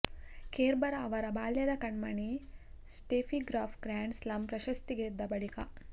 Kerber ಅವರ ಬಾಲ್ಯದ ಕಣ್ಮಣಿ ಸ್ಟೇಫಿಗ್ರಾಫ್ ಗ್ರಾಂಡ್ ಸ್ಲಾಮ್ ಪ್ರಶಸ್ತಿ ಗೆದ್ದ ಬಳಿಕ